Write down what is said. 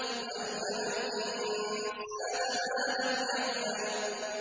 عَلَّمَ الْإِنسَانَ مَا لَمْ يَعْلَمْ